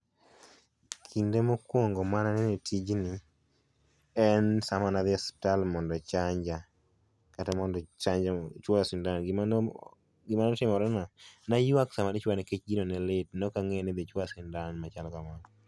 Kinde mokuongo mane anene e tijni en sama nadhi e suptal mondo ochanja kata mondo ochanj mondo ochuoya sindan. Gima no o gima notimore na ne aywak sama ne ichuoya nikech gino ne lit, ne ok ang'eyo ni idhi chuoya sindan machalo kamano.